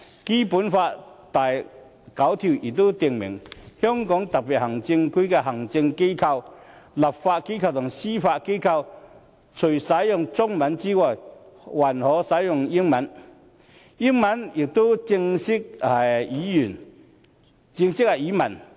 《基本法》第九條亦訂明："香港特別行政區的行政機關、立法機關和司法機關，除使用中文外，還可使用英文，英文也是正式語文。